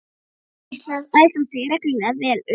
Dúlla litla að æsa sig reglulega vel upp.